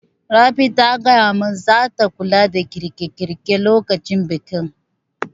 Rabi ta gaya mun zata kula da girƙe girƙe lokacin bikin